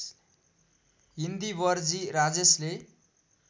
इन्दिवरजी राजेशले